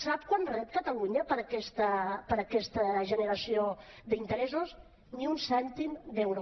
sap quant rep catalunya per aquesta generació d’interessos ni un cèntim d’euro